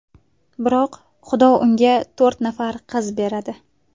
Biroq Xudo unga to‘rt nafar qiz beradi.